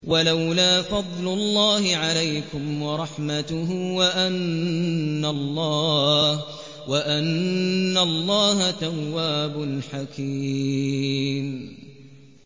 وَلَوْلَا فَضْلُ اللَّهِ عَلَيْكُمْ وَرَحْمَتُهُ وَأَنَّ اللَّهَ تَوَّابٌ حَكِيمٌ